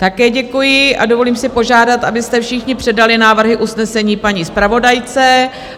Také děkuji a dovolím si požádat, abyste všichni předali návrhy usnesení paní zpravodajce.